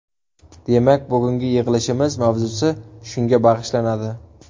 Demak, bugungi yig‘ilishimiz mavzusi shunga bag‘ishlanadi.